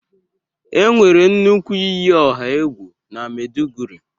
enwere nnukwu iyi ọha egwu na Maiduguri.